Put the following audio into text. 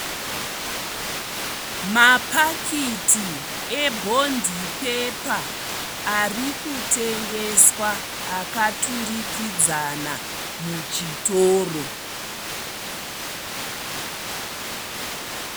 Mapakiti ebhondipepa arikutengeswa akaturikidzana muchitoro.